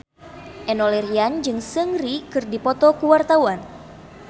Enno Lerian jeung Seungri keur dipoto ku wartawan